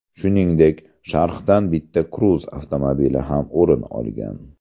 Shuningdek, sharhdan bitta Cruze avtomobili ham o‘rin olgan.